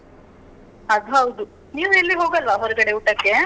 ಅದ್ ಹೌದು. ನೀವೆಲ್ಲೂ ಹೋಗಲ್ವಾ ಹೊರಗಡೆ ಊಟಕ್ಕೆ?